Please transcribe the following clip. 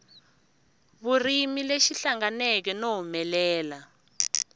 vurimi lexi hlanganeke no humelela